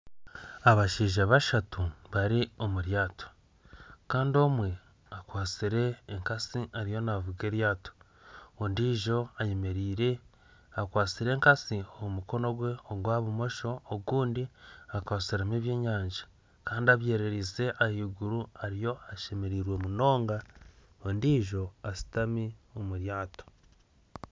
Abashaija bashatu bari omu ryato. Kandi omwe akwatsire enkasi ariyo naavuga eryato, ondiijo ayemeire akwasire enkasi omu mukono gwe ogwa bumosho ogundi akwatsiremu ebyenyanja, kandi abyerereize ahaiguru ariyo ashemereirwe munonga. Ondijo ashutami omu ryato.